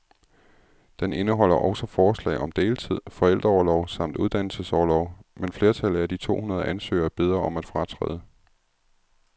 Den indeholder også forslag om deltid, forældreorlov samt uddannelsesorlov, men flertallet af de to hundrede ansøgere beder om at fratræde.